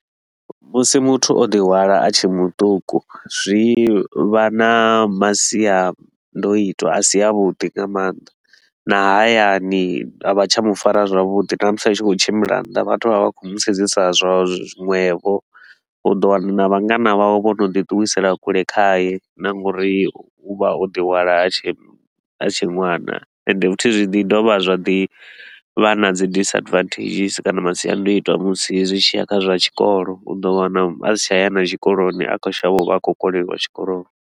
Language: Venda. Musi muthu o ḓi hwala a tshe muṱuku, zwi vha na masiandoitwa a si a vhuḓi nga maanḓa, na hayani a vha tsha mu fara zwavhuḓi na musi a tshi khou tshimbila nnḓa vhathu vha vha vha khou mu sedzisa zwiṅwevho. U ḓo wana na vhangana vhawe vho no ḓi ṱuwisela kule khaye na nga uri u vha o ḓi hwala a tshe ṅwana ende futhi zwi ḓi dovha zwa ḓi vha na dzi disadvantages kana masiandoitwa musi zwi tshi ya kha zwa tshikolo, u do wana a si tsha ya na tshikoloni a khou shavha u vha a khou koleliwa tshikoloni.